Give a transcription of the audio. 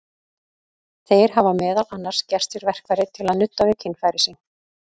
Þeir hafa meðal annars gert sér verkfæri til að nudda við kynfæri sín.